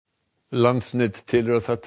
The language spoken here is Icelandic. landsnet telur að það